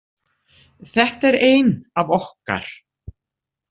Þetta er ein af okkar.